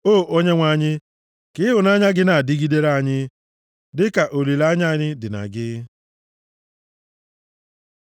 O Onyenwe anyị, ka ịhụnanya gị na-adịgidere anyị, dịka olileanya anyị dị na gị.